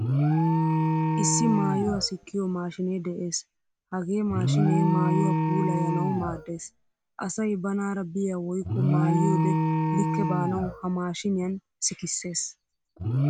Issi maayuwaa sikkiyo maashinne de'ees. Hagee maashine maayuwaa puulayanawu maaddees. Asay banaara biya woykko maayiyode likke baanawu ha maashiniyan sikkisees.